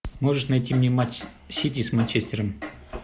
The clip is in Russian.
можешь найти мне матч сити с манчестером